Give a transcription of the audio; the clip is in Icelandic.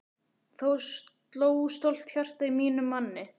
Þá sló stolt hjarta í mínum manni!